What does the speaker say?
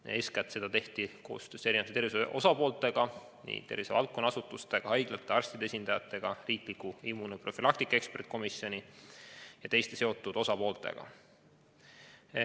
Seda tehti eeskätt koostöös mitme tervishoiuvaldkonna osapoolega, tervishoiuvaldkonna asutuste, haiglate ja arstide esindajatega, riikliku immunoprofülaktika eksperdikomisjoni ja teiste seotud osapooltega.